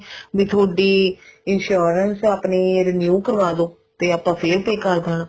ਵੀ ਥੋਡੀ insurance ਆਪਣੀ renew ਕਰਾਲੋ ਤੇ ਆਪਾਂ ਫ਼ੇਰ pay ਕਰ ਦੇਣਾ